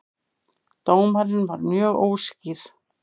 Dómarinn var mjög óskýr